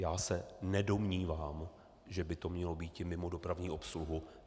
Já se nedomnívám, že by to mělo býti mimo dopravní obsluhu.